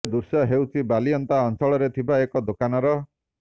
ଏ ଦୃଶ୍ୟ ହେଉଛି ବାଲିଅନ୍ତା ଅଂଚଳରେ ଥିବା ଏକ ଦୋକାନର